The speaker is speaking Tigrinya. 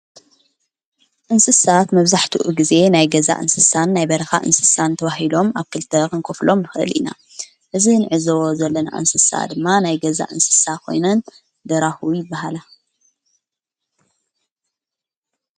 እንስሳት መብዛሕትኡ ጊዜ ናይ ገዛ እንስሳን ናይ በርኻ እንስሳን ተዋሂሎም ኣብ ክልተኽንክፍሎም ኽእል ኢና እዝ ንዕዝ ዘለና እንስሳ ድማ ናይ ገዛ እንስሳ ኾይኑን ደራሁዊ በሃላ።